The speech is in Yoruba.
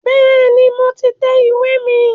Bẹ́ẹ̀ni, mo ti tẹ ìwé mi